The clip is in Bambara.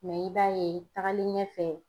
i b'a ye tagalen ɲɛfɛ